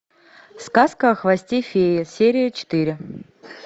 сказка о хвосте феи серия четыре